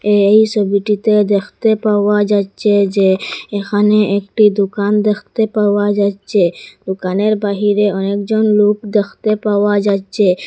এই সোবিটিতে দ্যাখতে পাওয়া যাচ্চে যে এখানে একটি দোকান দ্যাখতে পাওয়া যাচ্চে দোকানের বাহিরে অনেকজন লোক দ্যাখতে পাওয়া যাচ্চে।